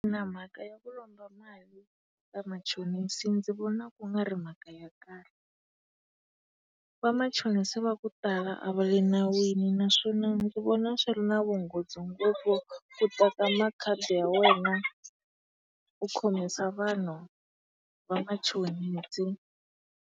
mhaka ya ku lomba mali ka machonisa ndzi vona ku nga ri mhaka ya kahle. Vamachonisa va ku tala a va le nawini naswona ndzi vona swi ri na vunghozi ngopfu ku teka makhadi ya wena u khomisa vanhu vamachonisa.